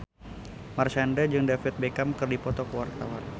Marshanda jeung David Beckham keur dipoto ku wartawan